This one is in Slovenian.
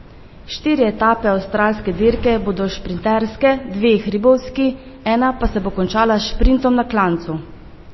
Štiri etape avstralske dirke bodo šprinterske, dve hribovski, ena pa se bo končala s šprintom na klancu.